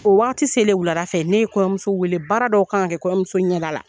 O waati selen wulada fɛ ne ye kɔɲɔmuso wele baara dɔw k'an kɛ kɔɲɔmuso ɲɛ da la